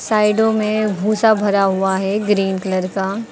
साइडो में भूसा भरा हुआ है ग्रीन कलर का।